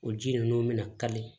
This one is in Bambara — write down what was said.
O ji ninnu bɛna kari